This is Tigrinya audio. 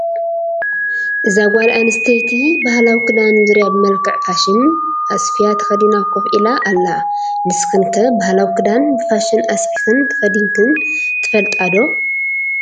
እዛ ጓልኣንስቴቲ ባህላዊ ክዳን ዙሪያ ብመልክዕ ፋሽን ኣስፍያ ተከዲና ኮፍ ኢላ ኣላ። ንስክን ከ ባህላዊ ክዳን ብፋሽን ኣስፊክን ተከዲንክን ትፈልጣ ዶ?